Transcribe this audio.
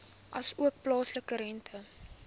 asook plaaslike rente